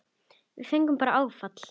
Við fengum bara áfall.